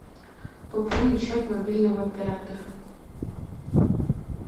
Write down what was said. пополнить счет мобильного оператора